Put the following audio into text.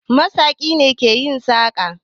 Masaƙi ne ke yin saƙa